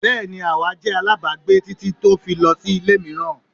Bẹ́ẹ́ni awa jẹ alábàágbé titi o fi lọ si ile miiran